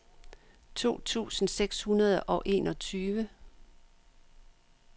to tusind seks hundrede og enogtyve